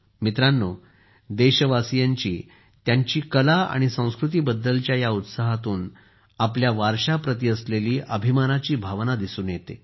मित्रांनो देशवासीयांचा त्यांच्या कला आणि संस्कृतीबद्दलच्या या उत्साहातून आपल्या वारशाप्रती असलेली अभिमानाची भावना दिसून येते